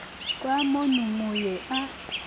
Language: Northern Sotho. fa mono mo ye a